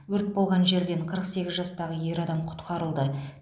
өрт болған жерден қырық сегіз жастағы ер адам құтқарылды